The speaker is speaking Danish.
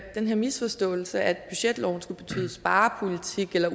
at den her misforståelse med at budgetloven skulle betyde sparepolitik eller